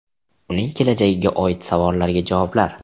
Uning kelajagiga oid savollarga javoblar.